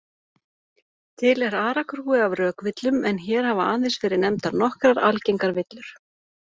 Til er aragrúi af rökvillum en hér hafa aðeins verið nefndar nokkrar algengar villur.